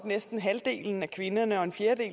næste